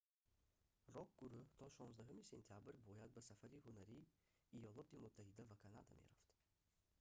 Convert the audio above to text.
рок-гурӯҳ то 16 сентябр бояд ба сафари ҳунарии иёлоти муттаҳида ва канада мерафт